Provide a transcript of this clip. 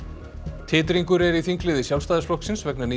titringur er í þingliði Sjálfstæðisflokksins vegna nýs